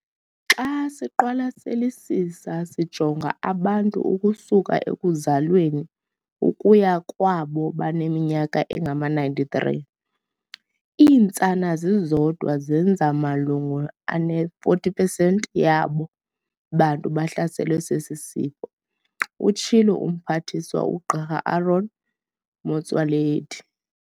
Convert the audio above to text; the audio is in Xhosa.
"Xa siqwalaselisisa sijonga abantu ukusuka ekuzalweni ukuya kwabo baneminyaka engama-93, iintsana zizodwa zenza malunga ne-40 pesenti yabo bantu bahlaselwe sesi sifo," utshilo uMphathiswa uGq Aaron Motsoaledi.